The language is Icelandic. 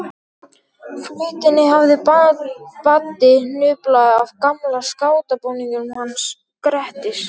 Flautunni hafði Baddi hnuplað af gamla skátabúningnum hans Grettis.